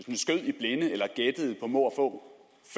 går